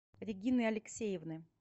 регины алексеевны